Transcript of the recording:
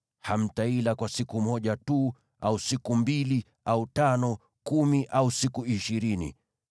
Hamtaila kwa siku moja tu, au siku mbili, au tano, kumi au siku ishirini,